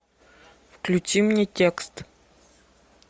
включи мне текст